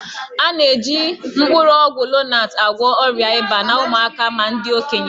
A na-eji mkpụrụ ọgwụ Lonat agwọ ọrịa ịba na ụmụaka ma ndị okenye